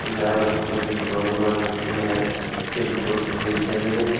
सजाए बर बहुत अकन सामान उमान रखे हवय जेन अब्बड़ सूघ्घर दिखत हवय।